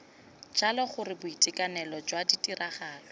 jalo gore boitekanelo jwa tiragalo